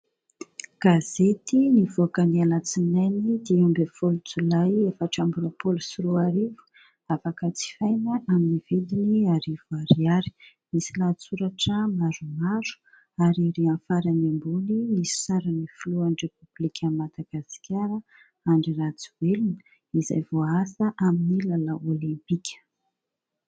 Gazety nivoaka ny alatsinainy dimy ambin'ny folo jolay efatra ambin'ny roapolo sy roa arivo ; afaka jifaina amin'ny vidiny arivo ariary ; misy lahatsoratra maromaro ary ery amin'ny farany ambony misy sarin'ny filohan'ny repoblika an'i Madagasikara : Andry Rajoelina izay voaasa amin'ny lalao olimpika.